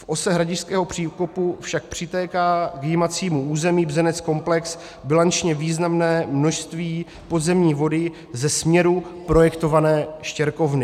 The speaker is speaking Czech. V ose Hradišťského příkopu však přitéká v jímacím území Bzenec-komplex bilančně významné množství podzemní vody ze směru projektované štěrkovny.